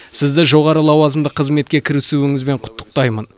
сізді жоғары лауазымды қызметке кірісуіңізбен құттықтаймын